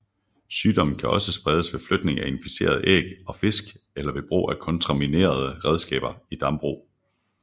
Sygdommen kan også spredes ved flytning af inficerede æg og fisk eller ved brug af kontaminerede redskaber i dambrug